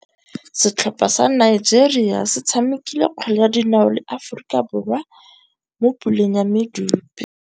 Setlhopha sa Nigeria se tshamekile kgwele ya dinaô le Aforika Borwa mo puleng ya medupe.